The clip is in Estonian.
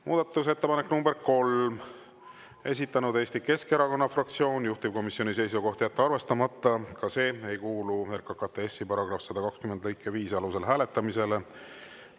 Muudatusettepanek nr 3, esitanud Eesti Keskerakonna fraktsioon, juhtivkomisjoni seisukoht on jätta arvestamata, ka see ei kuulu RKKTS‑i § 120 lõike 5 alusel hääletamisele.